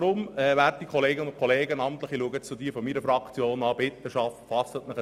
Werte Kolleginnen und Kollegen, fassen Sie sich ein Herz und sagen Sie Ja!